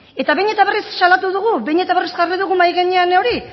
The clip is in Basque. eta behin eta berriz salatu dugu behin eta berriz jarri dugu mahai gainean hori